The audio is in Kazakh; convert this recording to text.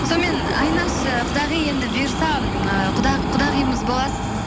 сонымен айнаш ы құдағи енді бұйырса ы құдағиымыз боласыз